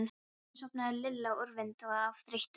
Loksins sofnaði Lilla úrvinda af þreytu.